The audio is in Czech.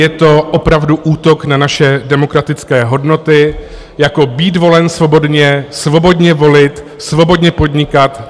Je to opravdu útok na naše demokratické hodnoty jako být volen svobodně, svobodně volit, svobodně podnikat.